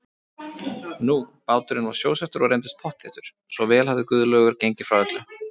Nú, báturinn var sjósettur og reyndist pottþéttur, svo vel hafði Guðlaugur gengið frá öllu.